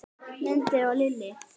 Mundi og Lillý.